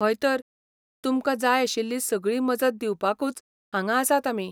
हय तर, तुमकां जाय आशिल्ली सगळी मजत दिवपाकूच हांगां आसात आमी.